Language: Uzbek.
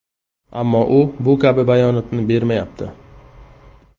Ammo u bu kabi bayonotni bermayapti.